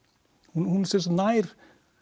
hún sem sagt nær